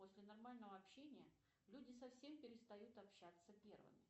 после нормального общения люди совсем перестают общаться первыми